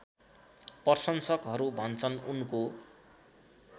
प्रशंसकहरू भन्छन् उनको